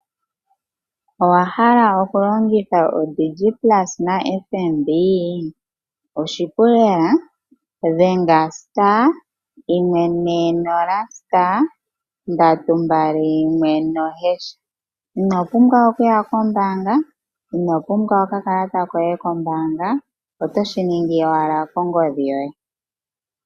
Owahala oku longitha odig plus na FNB? Oshipu lela, dhenga *140*321#. Ino pumbwa okuya ko mbaanga, ino pumbwa oka kalata koye ko mbaanga, oto shi ningi owala ko ngodhi yoye.